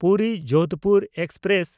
ᱯᱩᱨᱤ–ᱡᱳᱫᱷᱯᱩᱨ express